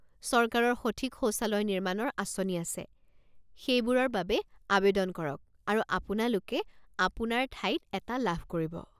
চৰকাৰৰ সঠিক শৌচালয় নিৰ্মাণৰ আঁচনি আছে, সেইবোৰৰ বাবে আৱেদন কৰক আৰু আপোনালোকে আপোনাৰ ঠাইত এটা লাভ কৰিব।